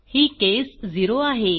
ही case 0 आहे